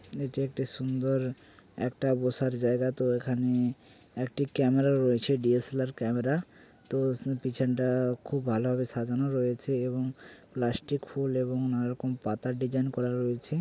এটি একটি সুন্দর একটা বসার জায়গা তো এখানে - একটি ক্যামেরা রয়েছে D. S. L. R camera তো পিছনটা খুব ভালো হবে সাজানো রয়েছে এবং প্লাস্টিক ফুল এবং নানা রকম পাতার ডিজাইন করা রয়েছে।